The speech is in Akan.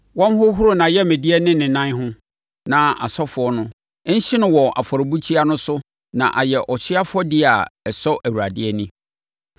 Wɔnhohoro nʼayamdeɛ ne ne nan ho na asɔfoɔ no nhye no wɔ afɔrebukyia no so na ayɛ ɔhyeɛ afɔdeɛ a ɛsɔ Awurade ani.